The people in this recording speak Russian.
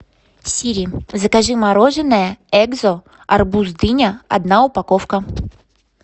сири закажи мороженое экзо арбуз дыня одна упаковка